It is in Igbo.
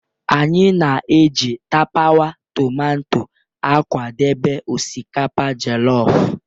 Anyị na-eji tapawa tomato akwadebe osikapa jollof.